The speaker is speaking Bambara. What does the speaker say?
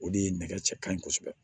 O de ye nɛgɛ cɛ ka ɲi kosɛbɛ